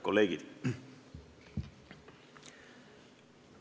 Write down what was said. Kolleegid!